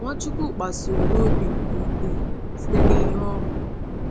Nwachukwu kpasuru n’obi nke ukwuu site n’ihe o hụrụ.